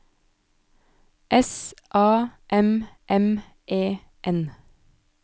S A M M E N